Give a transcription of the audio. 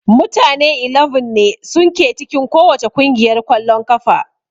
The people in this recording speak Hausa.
Mutane 11 ne sun ke cikin kowacce kungiyar kwallon kafa